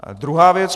Druhá věc.